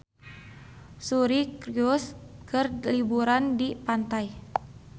Suri Cruise keur liburan di pantai